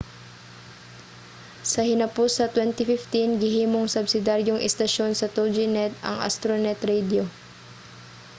sa hinapos sa 2015 gihimong subsidiyaryong estasyon sa toginet ang astronet radio